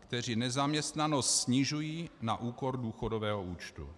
kteří nezaměstnanost snižují na úkor důchodového účtu.